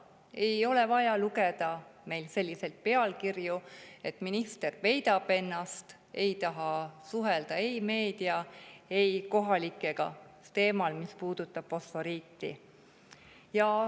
Meil ei ole vaja lugeda selliseid pealkirju, et minister peidab ennast ja ei taha suhelda ei meedia ega kohalikega teemal, mis puudutab fosforiiti.